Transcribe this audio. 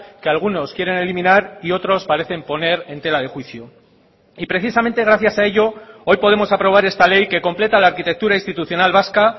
que algunos quieren eliminar y otros parecen poner en tela de juicio y precisamente gracias a ello hoy podemos aprobar esta ley que completa la arquitectura institucional vasca